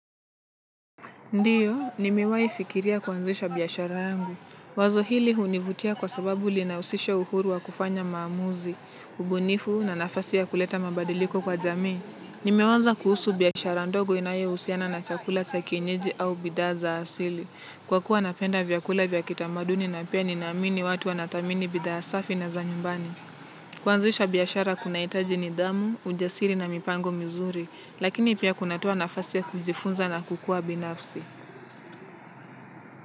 Ndiyo, nimewai fikiria kuanzisha biashara yangu. Wazo hili hunivutia kwa sababu liinahusisha uhuru wa kufanya mamuuzi, ubunifu na nafasi ya kuleta mabadiliko kwa jamii. Nimewaza kuhusu biashara ndogo inaye usiana na chakula chakinyeji au bidaa za asili. Kwa kuwa napenda vyakula vya kitamaduni na pia ninaamini watu wanatamini bidhaa safi na za nyumbani. Kwanzisha biashara kunaitaji nidhamu, ujasiri na mipango mizuri, lakini pia kunatua nafasi ya kujifunza na kukua binafsi.